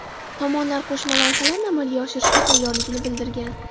Tomonlar qo‘shma loyihalarni amalga oshirishga tayyorligini bildirgan.